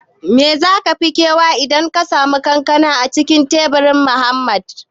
Me za ka fi kewa idan ka sami kanka a cikin tsibirin hamada?